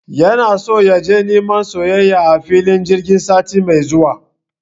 Yana so yaje neman soyayya a filin jirgi sati mai zuwa